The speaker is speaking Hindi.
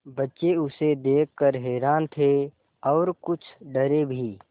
बच्चे उसे देख कर हैरान थे और कुछ डरे भी